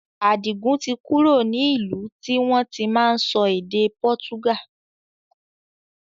Adigun tí kúrò ní ìlú tí wọn tí máa sọ èdè pọ́túgà